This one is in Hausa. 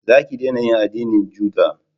Za ki dena yin addinin juda